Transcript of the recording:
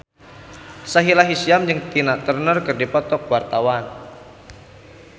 Sahila Hisyam jeung Tina Turner keur dipoto ku wartawan